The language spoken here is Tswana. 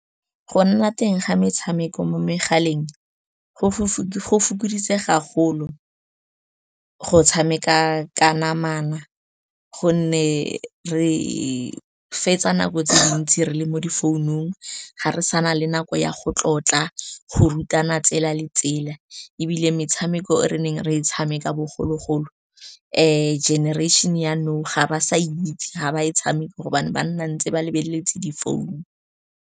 Go nna teng ga metshameko mo megaleng go fokoditse ga golo go tshameka ka namana, gonne re fetsa nako tse dintsi re le mo di founung, ga re sa na le nako ya go tlotla, go rutana tsela le tsela. Ebile metshameko e re neng re e tshameka bogologolo, generation ya nou ga ba sa itse, ga ba e tshameke gobane ba nna ntse ba lebeletse difounu.